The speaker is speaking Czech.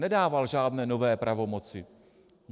Nedával žádné nové pravomoci.